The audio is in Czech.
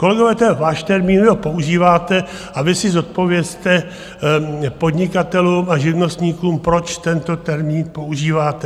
Kolegové, to je váš termín, vy ho používáte a vy si zodpovězte podnikatelům a živnostníkům, proč tento termín používáte.